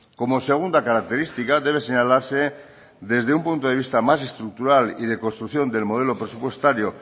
como segunda característica debe señalarse desde un punto de vista más estructural y de construcción del modelo presupuestario